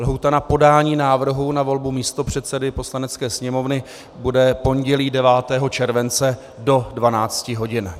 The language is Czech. Lhůta na podání návrhů na volbu místopředsedy Poslanecké sněmovny bude pondělí 9. července do 12 hodin.